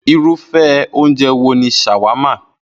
Irúfé̩ oúnje̩ wo ni s̩àwámà?